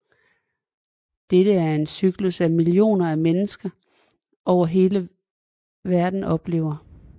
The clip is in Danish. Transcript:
Dette er en cyklus som millioner af mennesker over hele verden oplever